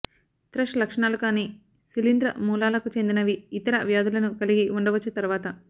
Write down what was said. త్రష్ లక్షణాలు కాని శిలీంధ్ర మూలాలకు చెందినవని ఇతర వ్యాధులను కలిగి ఉండవచ్చు తర్వాత